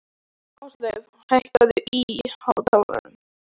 Ásleif, hækkaðu í hátalaranum.